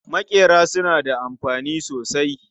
Maƙera suna da amfani sosai.